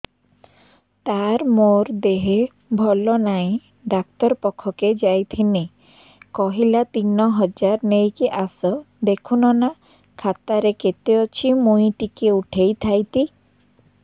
ତାର ମାର ଦେହେ ଭଲ ନାଇଁ ଡାକ୍ତର ପଖକେ ଯାଈଥିନି କହିଲା ତିନ ହଜାର ନେଇକି ଆସ ଦେଖୁନ ନା ଖାତାରେ କେତେ ଅଛି ମୁଇଁ ଟିକେ ଉଠେଇ ଥାଇତି